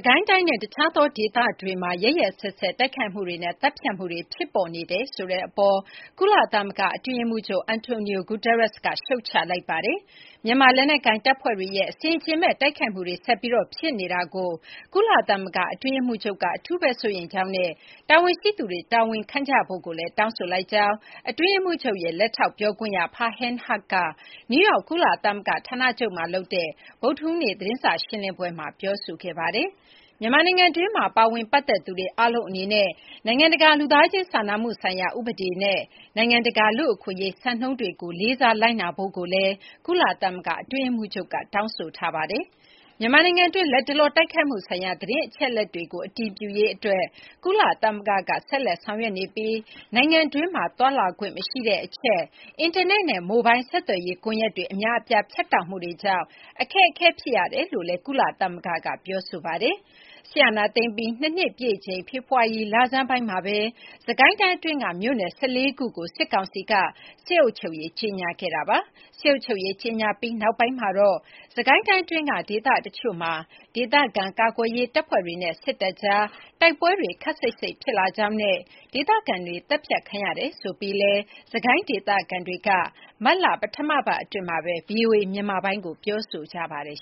ကိုင်းတိုင်းနဲ့ တခြားသောဒေသတွေမှာ ရက်ရက်စက်စက်တိုက်ခိုက်မှုတွေနဲ့ သတ်ဖြတ်မှုတွေ ဖြစ်ပေါ်နေတယ်ဆိုတဲ့အပေါ် ကုလသမဂ္ဂအတွင်းရေးမှူးချုပ် Antonio Guterres က ရှုတ်ချလိုက်ပါတယ်။ မြန်မာလက်နက်ကိုင်တပ်ဖွဲ့တွေရဲ့ အဆင်အခြင်မဲ့တိုက်ခိုက်မှုတွေ ဆက်ပြီး ဖြစ်နေတာကို ကုလသမဂ္ဂအတွင်းရေးမှူးချုပ်က အထူးစိုးရိမ်ကြောင်းနဲ့ တာဝန်ရှိသူတွေတာဝန်ခံကြဖို့ကိုလည်း တောင်းဆိုလိုက်ကြောင်း အတွင်းရေးမှူးချုပ်ရဲ့ လက်ထောက်ပြောခွင့်ရ Farhan Haq က နယူးယောက် ကုလသမဂ္ဂဌာနချုပ်မှာလုပ်တဲ့ ဗုဒ္ဓဟူးနေ့သတင်းစာရှင်းလင်းပွဲမှာ ပြောဆိုခဲ့ပါတယ်။ မြန်မာနိုင်ငံတွင်းမှာ ပါဝင်ပတ်သက်သူတွေ အားလုံးအနေနဲ့ နိုင်ငံတကာလူသားချင်း စာနာမှုဆိုင်ရာဥပဒေနဲ့ နိုင်ငံတကာလူ့အခွင့်အရေး စံနှုန်းတွေကို လေးစားလိုက်နာဖို့လည်း ကုလသမဂ္ဂ အတွင်းရေးမှူးချုပ်က တောင်းဆိုထားပါတယ်။ မြန်မာနိုင်ငံတွင်း လတ်တလောတိုက်ခိုက်မှုဆိုင်ရာ သတင်းအချက်အလက်တွေကို အတည်ပြုရေးအတွက် ကုလသမဂ္ဂက ဆက်လက်ဆောင်ရွက်နေပြီး နိုင်ငံတွင်းမှာ သွားလာခွင့်မရှိတဲ့အချက်၊ အင်တာနက်နဲ့ မိုလ်ဘိုင်းဆက်သွယ်ရေး ကွန်ရက်တွေ အများအပြား ဖြတ်တောက်မှုတွေကြောင့် အခက်အခဲဖြစ်ရကြောင်းလည်း ကုလသမဂ္ဂက ပြောဆိုထားပါတယ်။ စစ်အာဏာသိမ်းပြီး ၂ နှစ်ပြည့်ချိန် ဖေဖော်ဝါရီလဆန်းပိုင်းမှာပဲ စစ်ကိုင်းတိုင်း အတွင်းက မြို့နယ် ၁၄ ခုကို စစ်ကောင်စီက စစ်အုပ်ချုပ်ရေး ကြေညာခဲ့တာပါ။ စစ်အုပ်ချုပ်ရေး ကြေညာပြီးနောက်ပိုင်းမှာတော့ စစ်ကိုင်းတိုင်းအတွင်းက ဒေသတချို့မှာ ဒေသခံကာကွယ်ရေးတပ်ဖွဲ့တွေနဲ့ စစ်တပ်ကြားတိုက်ပွဲတွေ ခပ်စိပ်စိပ်ဖြစ်လာကြောင်းနဲ့ ဒေသခံတွေသတ်ဖြတ်ခံရတယ်ဆိုပြီးလည်း စစ်ကိုင်း ဒေသခံတွေက မတ်လပထမပတ်အတွင်းမှာပဲ ဗွီအိုအေမြန်မာပိုင်းကို ပြောဆိုထားပါတယ်